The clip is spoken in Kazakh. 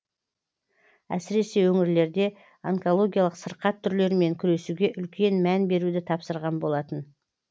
әсіресе өңірлерде онкологиялық сырқат түрлерімен күресуге үлкен мән беруді тапсырған болатын